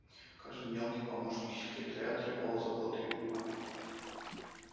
каждый мелкий помощник секретаря требовал заботы и внимания